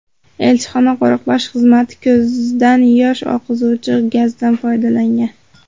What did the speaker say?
Elchixona qo‘riqlash xizmati ko‘zdan yosh oqizuvchi gazdan foydalangan.